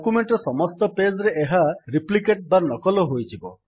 document ର ସମସ୍ତ page ରେ ଏହା ରେପ୍ଲିକେଟ୍ନକଲ ହୋଇଯିବ